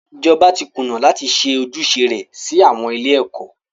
Ìjọba tí kùnà láti ṣe ojúṣe rẹ sí àwọn ilé ẹ̀kọ́.